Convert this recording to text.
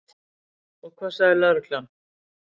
Og hvað sagði lögreglan?